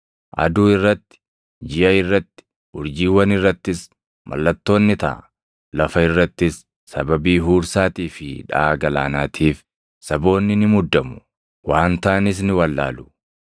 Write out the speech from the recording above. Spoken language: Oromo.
“Aduu irratti, jiʼa irratti, urjiiwwan irrattis mallattoon ni taʼa. Lafa irrattis sababii huursaatii fi dhaʼaa galaanaatiif saboonni ni muddamu; waan taʼanis ni wallaalu.